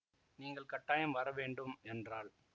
நீங்கள் கட்டாயம் வர வேண்டும் என்றாள்